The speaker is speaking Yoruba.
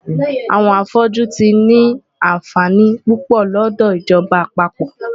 Àwọn afọ́jú tí ni àǹfààní púpọ̀ lọ́dọ̀ ìjọba àpapọ̀.